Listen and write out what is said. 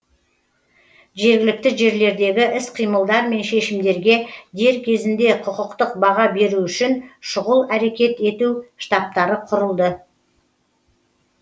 жергілікті жерлердегі іс қимылдар мен шешімдерге дер кезінде құқықтық баға беру үшін шұғыл әрекет ету штабтары құрылды